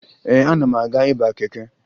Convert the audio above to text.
Ee, ana m aga ịba keke